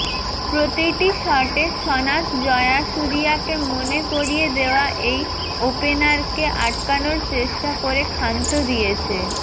প্রতিটি শটে সনাথ জয়াসুরিয়াকে মনে করিয়ে দেওয়া এই ওপেনারকে আটকানোর চেষ্টা করে ক্ষান্ত দিয়েছে